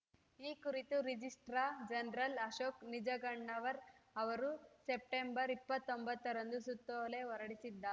ಈ ಕುರಿತು registrar general Ashok Nijagannavar ಅವರು ಸೆಪ್ಟೆಂಬರ್ ಇಪ್ಪತ್ತೊಂಬತ್ತರಂದು ಸುತ್ತೋಲೆ ಹೊರಡಿಸಿದ್ದಾರೆ